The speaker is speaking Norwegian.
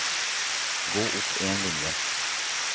Gå opp en linje